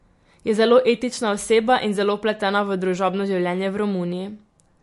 Je zelo etična oseba in zelo vpletena v družabno življenje v Romuniji.